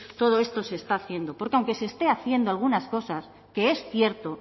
todo esto se está haciendo porque aunque se estén haciendo algunas cosas que es cierto